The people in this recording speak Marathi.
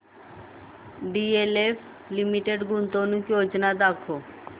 डीएलएफ लिमिटेड गुंतवणूक योजना दाखव